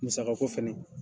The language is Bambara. Musaka ko fɛnɛ